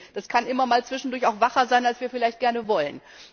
Das kann immer mal zwischendurch auch wacher sein, als wir vielleicht gerne wollen.